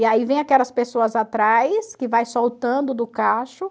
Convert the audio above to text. E aí vem aquelas pessoas atrás, que vai soltando do cacho.